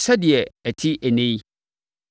sɛdeɛ ɛte ɛnnɛ yi.